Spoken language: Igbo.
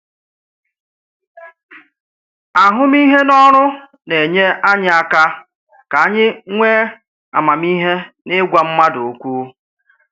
Ahụmịhe n’ọrụ na-enyé anyị aka ka anyị nwee amamihe n’ịgwa mmadụ okwu.